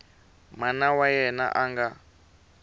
mana wa yena a nga